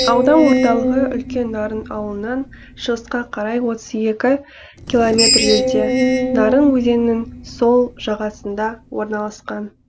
аудан орталығы үлкен нарын ауылынан шығысқа қарай отыз екі километр жерде нарын өзенінің сол жағасында орналасқан